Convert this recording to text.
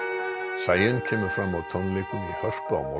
Sæunn kemur fram á tónleikum í Hörpu á